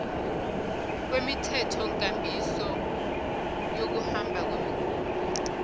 kwemithethonkambiso yokuhamba kwemikhumbi